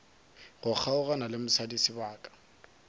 go kgaogana le mosadi sebaka